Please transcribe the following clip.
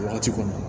Wagati kɔnɔ